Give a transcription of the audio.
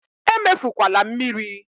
Emefukwala mmiri!